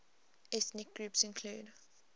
ethnic groups include